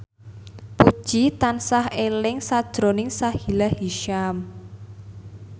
Puji tansah eling sakjroning Sahila Hisyam